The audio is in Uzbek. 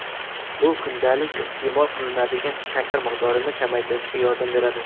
Bu kundalik iste’mol qilinadigan shakar miqdorini kamaytirishga yordam beradi.